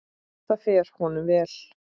Það fer honum vel.